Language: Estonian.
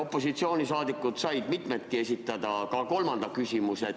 Opositsiooni liikmetest said mitmedki esitada ka kolmanda küsimuse.